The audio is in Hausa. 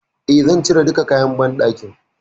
E, zan cire duka kayan banɗakin.